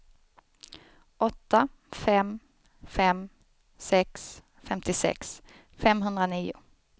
åtta fem fem sex femtiosex femhundranio